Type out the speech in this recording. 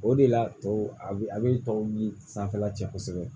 O de la tɔw a bɛ a bɛ tɔw bi sanfɛla cɛ kosɛbɛ